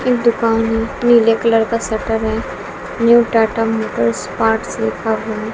इस दुकान में नीले कलर का शटर है न्यू टाटा मोटर्स पार्ट्स लिखा हुआ है।